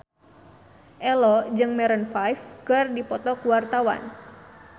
Ello jeung Maroon 5 keur dipoto ku wartawan